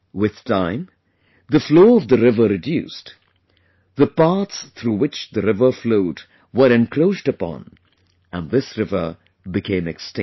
With time the flow of the river reduced, the paths through which the river flowed were encroached upon and this river became extinct